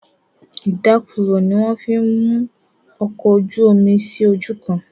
Ìdákọrò ní wón fí mú òkò ojú omí sí ojú kán.